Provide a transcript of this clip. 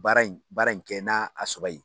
baara in baara in kɛ n'a a sɔrɔ ye